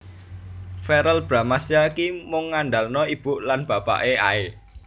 Verrel Bramastya ki mung ngandalno ibu lan bapake ae